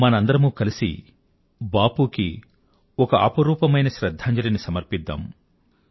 మనందరమూ కలిసి బాపూ కి ఒక అపురూపమైన శ్రధ్ధాంజలిని సమర్పిద్దాం